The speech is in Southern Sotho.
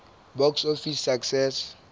box office success